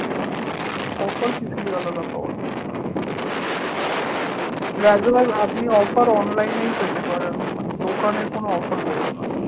Offer কিছুই আলাদা পাওয়া যায় না এই পেতে পারেন মানে দোকানে কোনো offer দেবে না